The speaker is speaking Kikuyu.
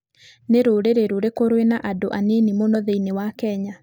Nĩ rũrĩrĩ rũrĩkũ rwĩna andũ anini mũno thĩinĩ wa Kenya?